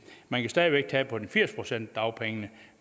man stadig væk tage på de firs procent af dagpengene